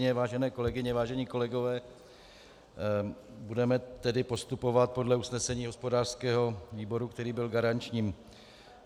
Vážené kolegyně, vážení kolegové, budeme tedy postupovat podle usnesení hospodářského výboru, který byl garančním.